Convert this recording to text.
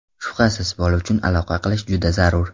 Shubhasiz, bola uchun aloqa qilish juda zarur!